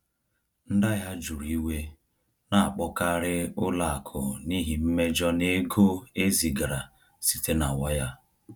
Ndị ahịa juru iwe na-akpọkarị ụlọ akụ n’ihi mmejọ n’ego e zigara site na waya.